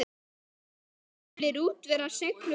Eflir útivera seiglu barna?